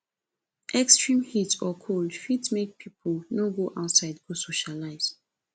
extreme heat or cold fit make pipo no go outside go socialize